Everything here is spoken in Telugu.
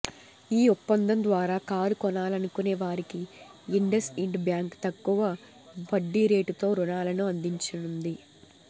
ఈ ఒప్పందం ద్వారా కారు కొనాలనుకునే వారికి ఇండస్ఇండ్ బ్యాంక్ తక్కువ వడ్డీరేటుతో రుణాలను అందించనుంది